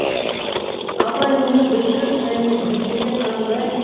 абай мұны білді және білгенде қандай